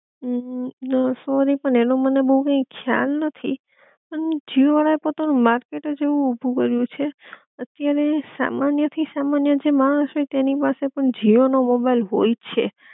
હમ sorry પણ એનો મને બોવ કી ખ્યાલ નથી પણ જીઓ વાળા એ પોતાનું માર્કેટ જ એવું ઊભું કર્યું છે અત્યારે સામાન્ય થી સામાન્ય જે માણસ હોય તેની પાસે પણ જીઓ નો મોબાઈલ હોય છે